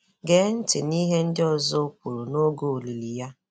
Gee ntị n'ihe ndị ọzọ o kwuru n'oge olili ya.